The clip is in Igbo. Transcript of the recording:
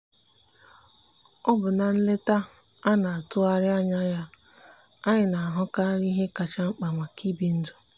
ọ bụ na nleta a na-atụghị anya ya anyị na-ahụkarị ihe kacha mkpa maka ibi ndụ.